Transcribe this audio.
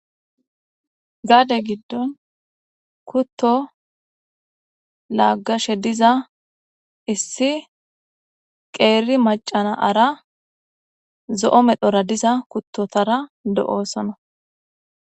Gaade giddon kutto laagashe diza issi qeeri macanaara zo'o medhora diza kuttotara do'oosona